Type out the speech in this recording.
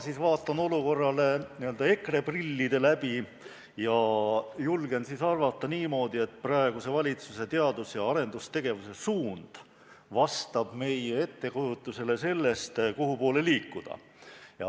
Mina vaatan olukorrale EKRE prillide läbi ja julgen arvata niimoodi, et praeguse valitsuse teadus- ja arendustegevuse suund vastab meie ettekujutusele sellest, kuhupoole liikuda.